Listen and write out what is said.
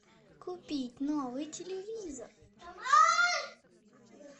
купить новый телевизор